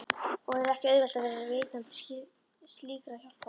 Og ekki var auðvelt að vera veitandi slíkrar hjálpar.